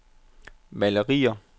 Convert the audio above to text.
malerier